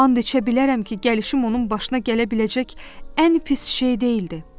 And içə bilərəm ki, gəlişim onun başına gələ biləcək ən pis şey deyildi.